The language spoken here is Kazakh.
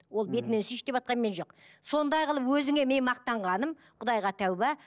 ол бетімнен сүйші деватқан мен жоқ сондай қылып өзіңе мен мақтанғаным құдайға тәубе